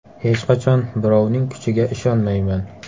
Hech qachon birovning kuchiga ishonmayman.